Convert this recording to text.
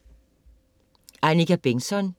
Annika Begntzon